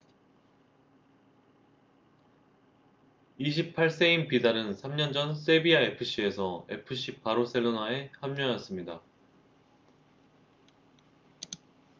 28세인 비달은 3년 전 세비야 fc에서 fc 바르셀로나에 합류했습니다